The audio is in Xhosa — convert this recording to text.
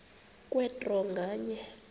kwe draw nganye